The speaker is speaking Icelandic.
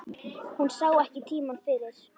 Hún sá ekki tímann fyrir.